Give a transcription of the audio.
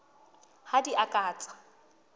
ha di a ka tsa